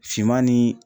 Finman ni